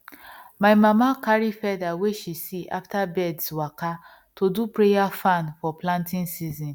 my mama carry feather wey she see after birds waka to do prayer fan for planting season